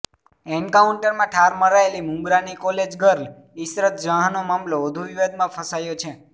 એન્કાઉન્ટરમાં ઠાર મરાયેલી મુંબ્રાની કોલેજ ગર્લ ઈશરત જહાંનો મામલો વધુ વિવાદમાં ફસાયો છે